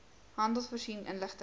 handel voorsien inligting